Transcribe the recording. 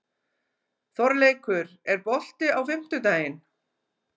Þorleikur, er bolti á fimmtudaginn?